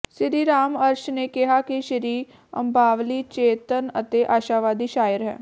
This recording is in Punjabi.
ਸਿਰੀ ਰਾਮ ਅਰਸ਼ ਨੇ ਕਿਹਾ ਕਿ ਸ਼੍ਰੀ ਅੰਬਾਲਵੀ ਚੇਤੰਨ ਅਤੇ ਆਸ਼ਾਵਾਦੀ ਸ਼ਾਇਰ ਹੈ